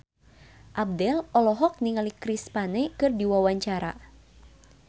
Abdel olohok ningali Chris Pane keur diwawancara